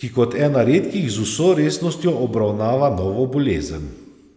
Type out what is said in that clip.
ki kot ena redkih z vso resnostjo obravnava novo bolezen.